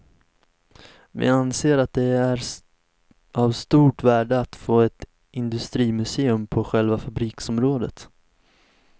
Vi anser att det är av stort värde att få ett industrimuseum på själva fabriksområdet.